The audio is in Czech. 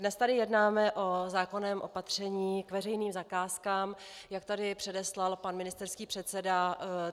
Dnes tady jednáme o zákonném opatření k veřejným zakázkám, jak tady předeslal pan ministerský předseda.